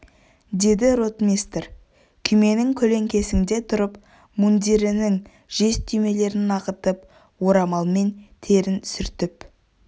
деді ротмистр күйменің көлеңкесінде тұрып мундирінің жез түймелерін ағытып орамалмен терін сүртіп